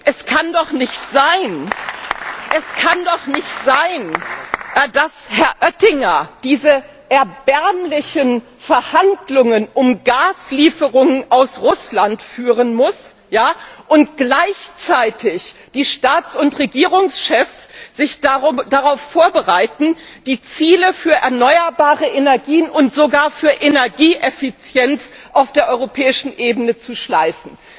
Es kann doch nicht sein, dass Herr Oettinger diese erbärmlichen Verhandlungen um Gaslieferungen aus Russland führen muss und gleichzeitig die Staats und Regierungschefs sich darauf vorbereiten, die Ziele für erneuerbare Energien und sogar für Energieeffizienz auf der europäischen Ebene zu schleifen.